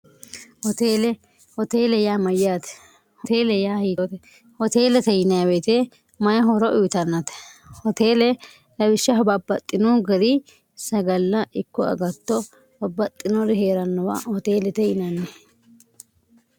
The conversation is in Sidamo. tlhoteele yaa mayyaate hoteele yaa hiioote hoteelete yineweete mayi hooro uyitannate hoteele lawishsha hobabbaxxinu gari sagalla ikko agatto babbaxxinori hee'rannowa hoteelete yinanni